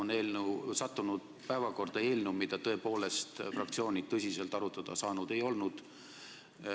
Praegu on sattunud päevakorda eelnõu, mida tõepoolest fraktsioonid tõsiselt arutada ei ole saanud.